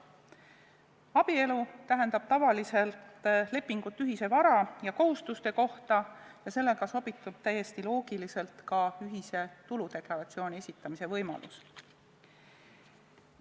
Abielu tähendab tavaliselt lepingut ühise vara ja kohustuste kohta ning sellega sobitub täiesti loogiliselt ka ühise tuludeklaratsiooni esitamise võimalus.